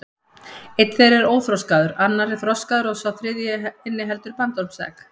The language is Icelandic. Einn þeirra er óþroskaður, annar er þroskaður og sá þriðji inniheldur bandormsegg.